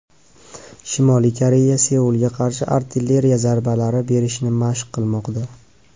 Shimoliy Koreya Seulga qarshi artilleriya zarbalari berishni mashq qilmoqda.